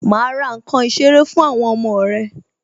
Ma ra nkan ìṣeré fún àwọn ọmọ rẹ